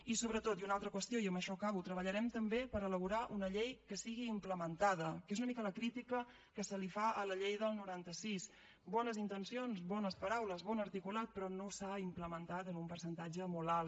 i sobretot i una altra qüestió i amb això acabo treballarem també per elaborar una llei que sigui implementada que és una mica la critica que se li fa a la llei del noranta sis bones intencions bones paraules bon articulat però no s’ha implementat en un percentatge molt alt